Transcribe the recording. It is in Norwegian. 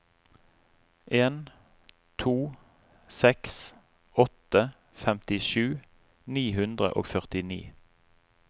en to seks åtte femtisju ni hundre og førtini